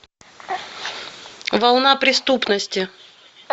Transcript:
волна преступности